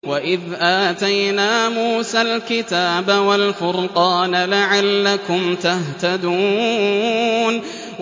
وَإِذْ آتَيْنَا مُوسَى الْكِتَابَ وَالْفُرْقَانَ لَعَلَّكُمْ تَهْتَدُونَ